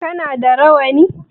Kana da rawani?